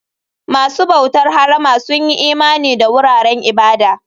Masu bautar harama sun yi imani da wuraren ibada.